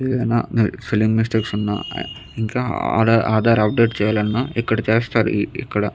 ఏదైనా spelling mistakes ఉన్నా ఇంకా ఆధార్ అప్డేట్ చేయాలన్నా ఇక్కడ చేస్తారు ఇ ఇక్కడ.